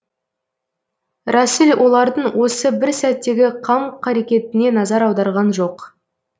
рәсіл олардың осы бір сәттегі қам қарекетіне назар аударған жоқ